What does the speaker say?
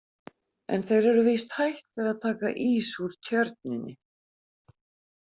En þeir eru víst hættir að taka ís úr Tjörninni